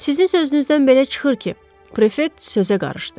Sizin sözünüzdən belə çıxır ki, prefet sözə qarışdı.